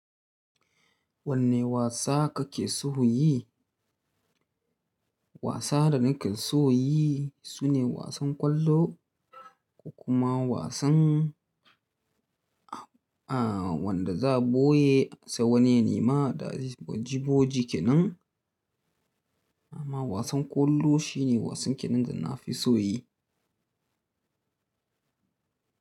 Wanne wasa kake son yi? Wasa da nake son yi sune wasan ƙwallo kuma wasan, wanda za'a boye sai wani ya nema boji-boji kenan. Amma wasan ƙwallo shi ne wasan kenan da na fi so yi.